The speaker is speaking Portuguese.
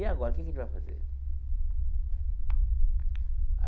E agora, o que que a gente vai fazer?